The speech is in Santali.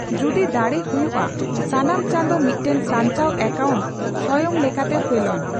ᱡᱚᱫᱤ ᱫᱟᱲᱮ ᱦᱚᱭᱩᱜ ᱟ, ᱥᱟᱱᱟᱢ ᱪᱟᱸᱫᱚ ᱢᱤᱫᱴᱟᱝ ᱥᱟᱧᱪᱟᱣ ᱮᱠᱟᱩᱱᱴ ᱥᱚᱭᱚᱝ ᱞᱮᱠᱟᱛᱮ ᱯᱷᱮᱞᱚᱱ ᱾